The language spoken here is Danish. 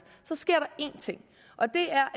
sker der én ting og det er